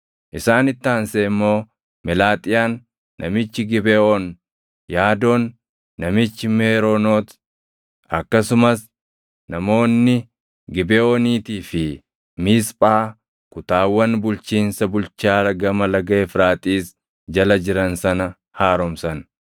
Isaanitti aansee immoo Melaaxiyaan namichi Gibeʼoon, Yaadoon namichi Meeroonot akkasumas namoonni Gibeʼooniitii fi Miisphaa kutaawwan bulchiinsa bulchaa Gama Laga Efraaxiis jala jiran sana haaromsan.